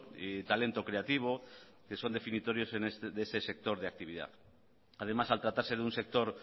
y talento creativo que son definitorios de ese sector de actividad además al tratarse de un sector